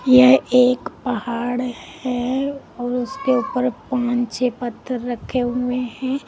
यह एक पहाड़ है और उसके ऊपर पांच छः पत्थर रखे हुए हैं।